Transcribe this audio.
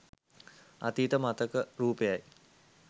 අතීත මතක රූපයයි